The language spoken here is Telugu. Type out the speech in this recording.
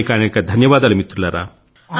అనేకానేక ధన్యవాదాలు మిత్రులారా